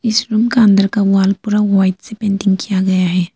इस रुम अंदर का वाल पूरा वाइट से पेंटिग किया गया है।